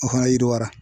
O fana yiriwari